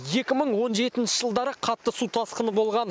екі мың он жетінші жылдары қатты су тасқыны болған